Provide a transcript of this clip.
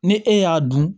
Ni e y'a dun